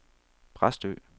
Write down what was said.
Præstø